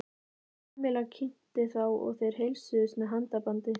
Kamilla kynnti þá og þeir heilsuðust með handabandi.